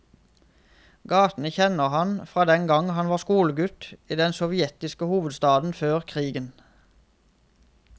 Gatene kjenner han fra den gang han var skolegutt i den sovjetiske hovedstaden før krigen.